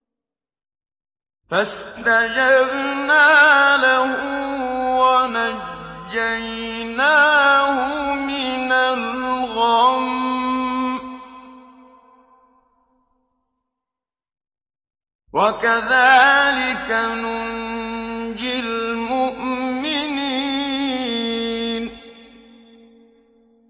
فَاسْتَجَبْنَا لَهُ وَنَجَّيْنَاهُ مِنَ الْغَمِّ ۚ وَكَذَٰلِكَ نُنجِي الْمُؤْمِنِينَ